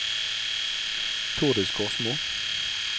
Thordis Korsmo